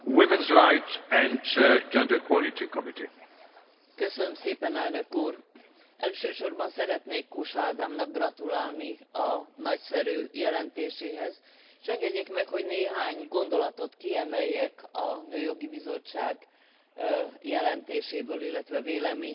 Elsősorban szeretnék Kósa Ádámnak gratulálni a nagyszerű jelentéséhez, és engedjék meg, hogy néhány gondolatot kiemeljek a Nőjogi Bizottság jelentéséből, illetve véleményéből. Először a fogyatékkal élő nők többszörös diszkriminációnak vannak kitéve.